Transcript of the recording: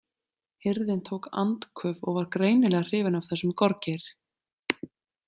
Hirðin tók andköf og var greinilega hrifin af þessum gorgeir.